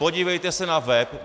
Podívejte se na web.